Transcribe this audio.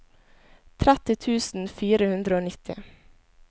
tretti tusen fire hundre og nitti